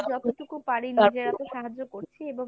যতটুকু পারি নিজেরা তো সাহায্য করছি এবং